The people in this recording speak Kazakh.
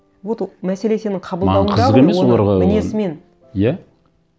вот мәселе сенің қабылдауыңда ғой оны маған қызық емес оларға мінезімен иә